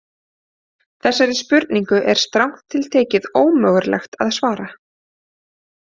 Þessari spurningu er strangt til tekið ómögulegt að svara.